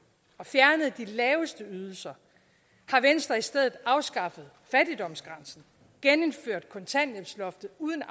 og fjernede de laveste ydelser har venstre i stedet afskaffet fattigdomsgrænsen genindført kontanthjælpsloftet uden